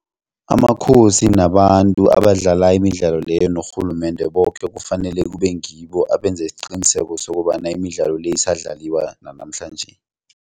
Amakhosi nabantu abadlala imidlalo leyo norhulumende boke kufanele kube ngibo abenza isiqiniseko sokobana imidlalo le isadlalwa nanamhlanje.